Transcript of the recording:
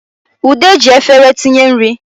Ude ji efere tinye nri